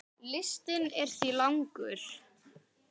Listinn er því langur.